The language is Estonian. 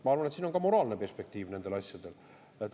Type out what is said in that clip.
Ma arvan, et siin on ka moraalne perspektiiv nendel asjadel.